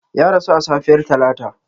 Ya rasu a safiyar Talata.